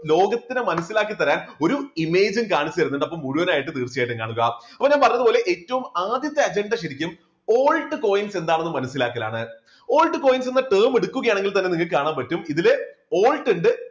ലോകത്തിന് മനസ്സിലാക്കി തരാൻ ഒരു image ഉം കാണിച്ചു തരുന്നുണ്ട് മുഴുവനായിട്ടും തീർച്ചയായിട്ടും കാണുക. അപ്പോ ഞാൻ പറഞ്ഞതുപോലെ ഏറ്റവും ആദ്യത്തെ അജണ്ട ശരിക്കും altcoins എന്താണെന്ന് മനസ്സിലാക്കലാണ് altcoins എന്ന term എടുക്കുകയാണെങ്കിൽ തന്നെ നിങ്ങൾക്ക് കാണാൻ പറ്റും ഇതില് alt ഉണ്ട്